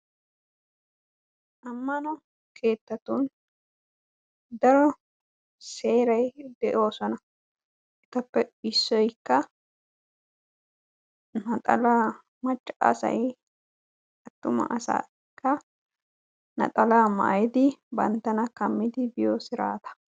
aammano keettatun daaro seeray dee'oosona. eettappe iissoykka naxaalaa maayidi banttana kaamidi biyoo siraataa.